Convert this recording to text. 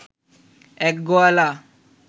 এক গোয়ালা